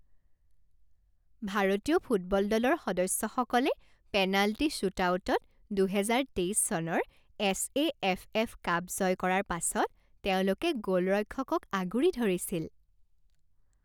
ভাৰতীয় ফুটবল দলৰ সদস্যসকলে পেনাল্টি শ্বুটআউটত দুহেজাৰ তেইছ চনৰ S A F F cup জয় কৰাৰ পাছত তেওঁলোকে গ'লৰক্ষকক আগুৰি ধৰিছিল।